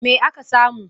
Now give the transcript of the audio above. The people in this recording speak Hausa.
Me aka samu?